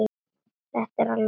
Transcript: Þetta er alveg ruglað.